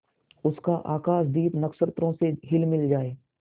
उसका आकाशदीप नक्षत्रों से हिलमिल जाए